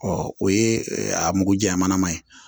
Ɔ o ye a mugu jaɲaman ye